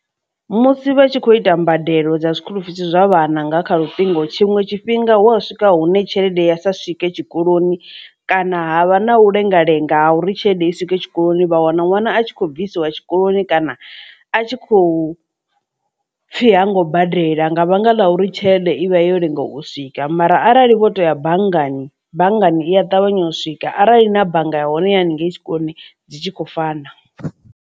Musi vha tshi kho ita mbadelo dza zwikulufisi zwa vhananga nga kha lutingo tshiṅwe tshifhinga hu wa swika hune tshelede ya sa swike tshikoloni kana ha vha na u lenga lenga ha uri tshelede i swike tshikoloni vha wana ṅwana a tshi khou bvisiwa tshikoloni kana a tshi khou pfhi hango badela nga vhanga ḽa uri tshelede ivhe yo lenga u swika mara arali vho to ya banngani banngani iya ṱavhanya u swika arali na bannga ya hone ya haningei tshikoloni dzi tshi khou fana.